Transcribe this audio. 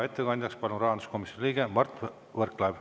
Ettekandjaks palun rahanduskomisjoni liikme Mart Võrklaeva.